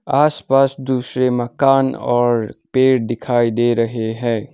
आस पास दूसरे मकान और पेड़ दिखाई दे रहे है।